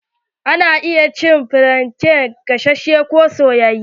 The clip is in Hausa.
Ana iya cin flante gasashe ko soyayye.